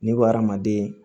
Ne bɛ adamaden